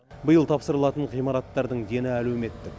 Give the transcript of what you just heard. биыл тапсырылатын ғимараттардың дені әлеуметтік